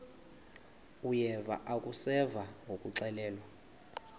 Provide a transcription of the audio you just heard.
uyeva akuseva ngakuxelelwa